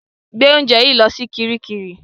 Gbé oúnjẹ yìí lọ sí kiríkirì!